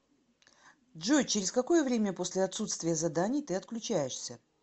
джой через какое время после отсутствия заданий ты отключаешься